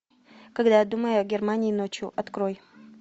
когда я думаю о германии ночью открой